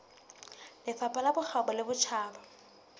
lefapha la bokgabo le botjhaba